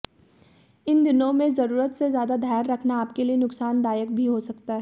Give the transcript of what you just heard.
इन दिनों में जरूरत से ज्यादा धैर्य रखना आपके लिए नुकसानदायक भी हो सकता है